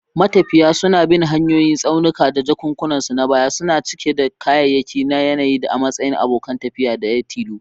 Matafiya suna bin hanyoyin tsaunuka, jakunkunansu na baya suna cike da kayayyaki da yanayi a matsayin abokin tafiya daya tilo.